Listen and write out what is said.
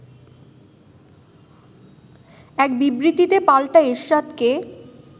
এক বিবৃতিতে পাল্টা এরশাদকে